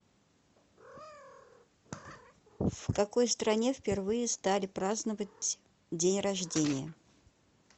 в какой стране впервые стали праздновать день рождение